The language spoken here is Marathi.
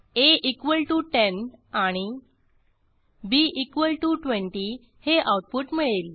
a10 आणि b20 हे आऊटपुट मिळेल